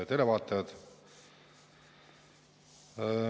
Head televaatajad!